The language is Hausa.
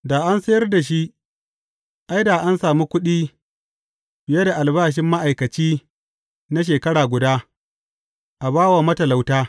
Da an sayar da shi, ai, da an sami kuɗi fiye da albashi ma’aikaci na shekara guda, a ba wa matalauta.